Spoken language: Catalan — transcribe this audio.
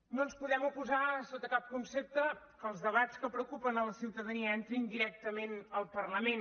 no ens podem oposar sota cap concepte que els debats que preocupen a la ciutadania entrin directament al parlament